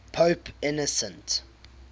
pope innocent